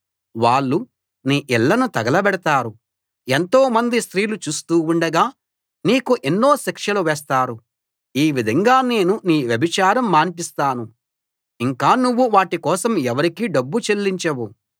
వాళ్ళు నీ ఇళ్ళను తగలబెడతారు ఎంతోమంది స్త్రీలు చూస్తూ ఉండగా నీకు ఎన్నో శిక్షలు వేస్తారు ఈ విధంగా నేను నీ వ్యభిచారం మాన్పిస్తాను ఇంక నువ్వు వాటి కోసం ఎవరికీ డబ్బు చెల్లించవు